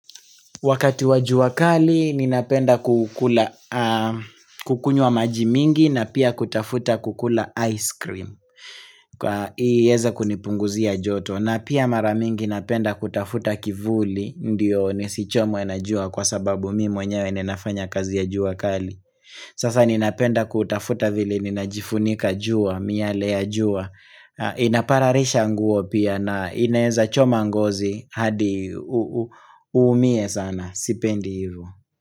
Wakati wa jua kali, ninapenda kukunywa majimingi na pia kutafuta kukula ice cream. Kwa iyeze kunipunguzia joto. Na pia maramingi napenda kutafuta kivuli, ndiyo nisichomwe najua kwa sababu mimi mwenyewe ninafanya kazi ya jua kali. Sasa ninapenda kutafuta vile ninajifunika jua, miale ya jua. Inapararisha nguo pia na inaweza choma ngozi hadi uumie sana. Sipendi hivo.